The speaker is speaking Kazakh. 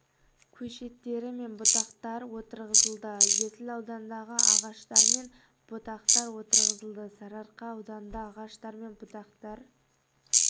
көшеттері мен бұтақтар отырғызылды есіл ауданында ағаштар мен бұтақтар отырғызылды сарыарқа ауданында ағаштар мен бұтақтар